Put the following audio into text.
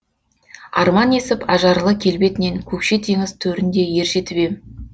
арман есіп ажарлы келбетінен көкше теңіз төрінде ержетіп ем